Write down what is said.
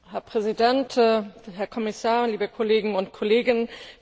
Herr Präsident, Herr Kommissar, liebe Kollegen und Kolleginnen!